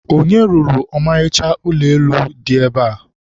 onye rụrụ ọmarịcha ụlọ elu a dị ebe a?